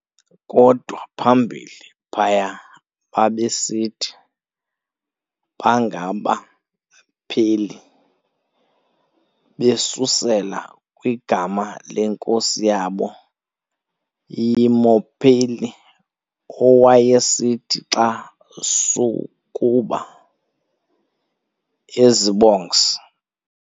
Kodwa phambili phaya babesithi bangabaPeli, besusela kwigama lenkosi yabo yMopeli, owayesithi xa sukuba ezibongs-